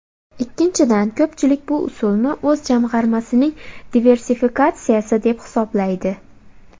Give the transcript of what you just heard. Ikkinchidan, ko‘pchilik bu usulni o‘z jamg‘armasining diversifikatsiyasi deb hisoblaydi.